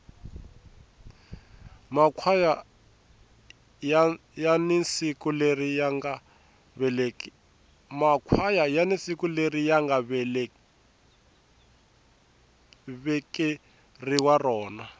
makhwaya yani siku leri yanga vekeriwa rona